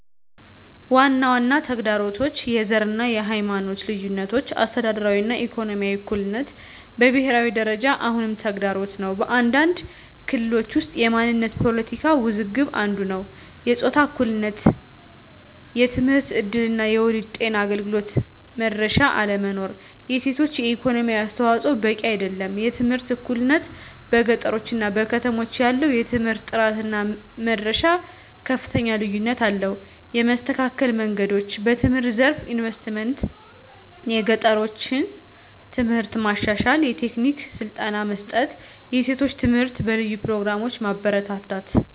ዋና ዋና ተግዳሮቶች፦ # የዘር እና የሃይማኖት ልዩነቶች - አስተዳደራዊ እና ኢኮኖሚያዊ እኩልነት በብሄራዊ ደረጃ አሁንም ተግዳሮት ነው። በአንዳንድ ክልሎች ውስጥ የማንነት ፖለቲካ ውዝግብ አንዱ ነዉ። #የጾታ እኩልነት የትምህርት እድል እና የወሊድ ጤና አገልግሎት መድረሻ አለመኖር። የሴቶች የኢኮኖሚ አስተዋፅዖ በቂ አይደለም። #የትምህርት እኩልነት - በገጠሮች እና ከተሞች መካከል ያለው የትምህርት ጥራት እና መድረሻ ከፍተኛ ልዩነት አለው። የመስተካከል መንገዶች፦ #በትምህርት ዘርፍ ኢንቨስትመንት - የገጠሮችን ትምህርት ማሻሻል፣ የቴክኒክ ስልጠና መስጠት፣ የሴቶች ትምህርት በልዩ ፕሮግራሞች ማበረታታት።